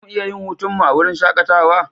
Za mu iya yin hutunmu a wurin shakatawa?